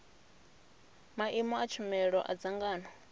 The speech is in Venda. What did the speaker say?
maimo a tshumelo a dzangano